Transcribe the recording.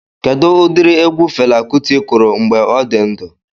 Kedụ ụdịrị egwu Fela Kuti kụrụ mgbe ọ dị ndụ?